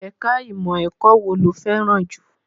Ẹ̀ka ìmọ̀ ẹ̀kọ́ wo ló fẹ́ràn jù?